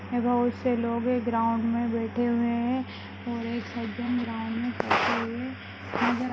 ये बहुत से लोग है ग्राउंड में बैठे हुए है और एक सज्जन गाँव में बैठे हुए है नजर--